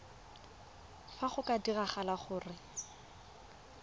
fa go ka diragala gore